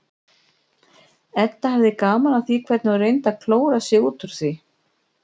Edda hafði gaman af því hvernig hún reyndi að klóra sig út úr því.